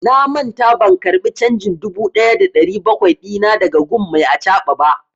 Na manta ban karba canjin dubu ɗaya da ɗari bakwai dina da ga gun mai acaɓa ba.